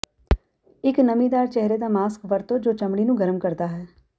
ਇਕ ਨਮੀਦਾਰ ਚਿਹਰੇ ਦਾ ਮਾਸਕ ਵਰਤੋ ਜੋ ਚਮੜੀ ਨੂੰ ਗਰਮ ਕਰਦਾ ਹੈ